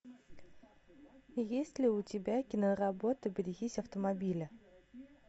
есть ли у тебя киноработа берегись автомобиля